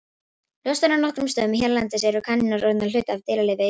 Ljóst er að á nokkrum stöðum hérlendis eru kanínur orðnar hluti af dýralífi Íslands.